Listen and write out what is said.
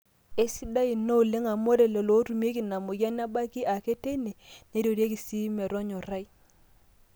aisidai ina oleng amu ore lelo ootumieki ina mweyian nebaki ake teine neirorieki sii metonyorai